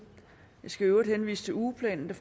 jeg skal i øvrigt henvise til ugeplanen der